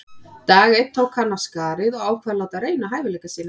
Dag einn tók hann af skarið og ákvað að láta reyna á hæfileika sína.